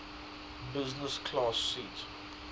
business class seat